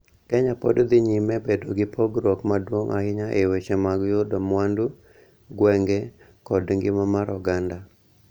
Kenya pod dhi nyime bedo gi pogruok maduong' ahinya e weche mag yudo mwandu, gwenge, kod ngima mar oganda,